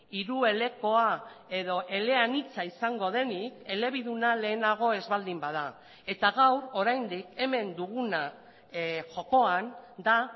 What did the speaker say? hiruelekoa edo eleanitza izango denik elebiduna lehenago ez baldin bada eta gaur oraindik hemen duguna jokoan da